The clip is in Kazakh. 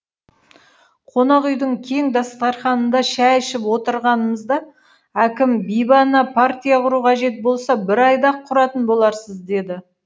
қонақ үйдің кең дастарханында шай ішіп отырғанымызда әкім бибі ана партия құру қажет болса бір айда ақ құратын боларсыз деді